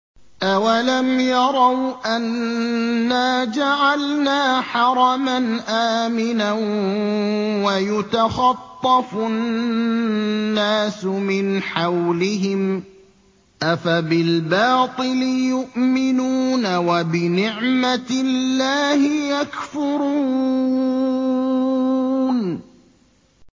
أَوَلَمْ يَرَوْا أَنَّا جَعَلْنَا حَرَمًا آمِنًا وَيُتَخَطَّفُ النَّاسُ مِنْ حَوْلِهِمْ ۚ أَفَبِالْبَاطِلِ يُؤْمِنُونَ وَبِنِعْمَةِ اللَّهِ يَكْفُرُونَ